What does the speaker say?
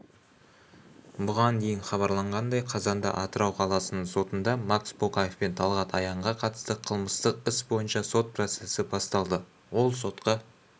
бұған дейін хабарланғандай қазанда атырау қаласының сотында макс боқаев пен талғат аянға қатысты қылмыстық іс бойынша сот процесі басталды ол сотқа